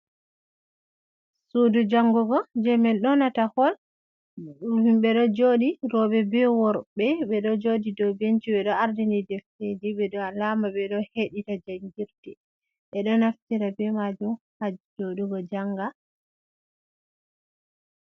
Suudu jangugo, je min nyonata hol. Ɗum himɓe ɗo jooɗi rooɓe be worɓe, ɓe ɗo jooɗi do benci, ɓe ɗo ardini defteeji, be ɗo alaama ɓe ɗo heɗita jangirde, ɓe ɗo naftira be maajum haa jooɗugo janga.